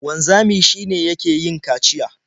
Wanzami shi ne yake yin kaciya.